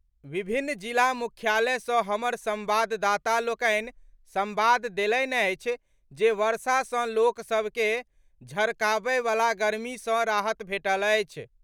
विभिन्न जिला मुख्यालय सॅ हमर संवाददाता लोकनि संवाद देलनि अछि जे वर्षा सॅ लोक सभ के झड़काबय वला गर्मी सॅ राहत भेटल अछि।